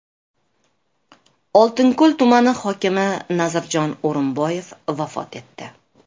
Oltinko‘l tumani hokimi Nazirjon O‘rinboyev vafot etdi.